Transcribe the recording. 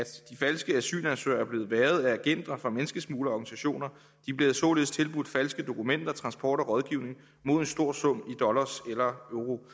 falske asylansøgere er blevet hvervet af agenter fra menneskesmuglerorganisationer de bliver således tilbudt falske dokumenter transport og rådgivning mod en stor sum i dollars eller